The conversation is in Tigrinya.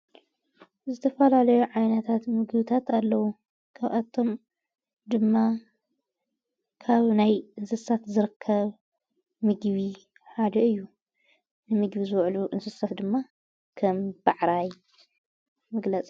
ዝተፈላለዮ ዓይነታት ምግብታት ኣለዉ ካብኣቶም ድማ ካብ ናይ እንስሳት ዝርከብ ምግቢ ሓደ እዩ ንምግቢ ዝውዕሉ እንስሳት ድማ ከም ብዕራይ ምግላጽ እዩ።